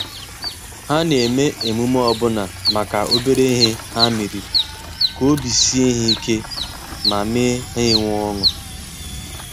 Ha na-eme emume ọbụna maka obere ihe ha meriri, ka obi sie ha ike ma mee ha nwee ọṅụ.